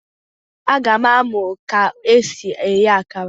A ga m amụ ka esi eghe akara